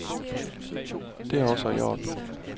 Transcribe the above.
Det er også i orden.